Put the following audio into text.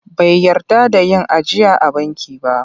Bai yarda da yin ajiya a banki ba..